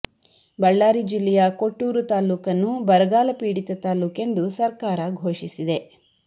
ಬಳ್ಳಾರಿ ಜಿಲ್ಲೆಯ ಕೊಟ್ಟೂರು ತಾಲೂಕನ್ನು ಬರಗಾಲ ಪೀಡಿತ ತಾಲೂಕೆಂದು ಸರ್ಕಾರ ಘೋಷಿಸಿದೆ